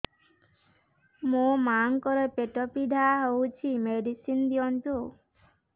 ମୋ ମାଆଙ୍କର ପେଟ ପୀଡା ହଉଛି ମେଡିସିନ ଦିଅନ୍ତୁ